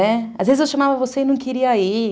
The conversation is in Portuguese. É, às vezes, eu chamava você e não queria ir.